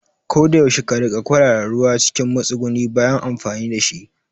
Koda yaushe ka riƙa kwarara ruwa cikin matsuguni bayan amfani dashi